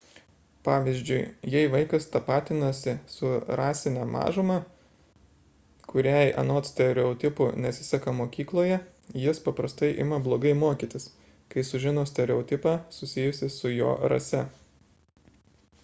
pavyzdžiui jei vaikas tapatinasi su rasine mažuma kuriai anot stereotipų nesiseka mokykloje jis paprastai ima blogai mokytis kai sužino stereotipą susijusį su jo rase